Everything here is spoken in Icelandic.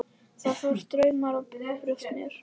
Þá fór straumur um brjóst mér.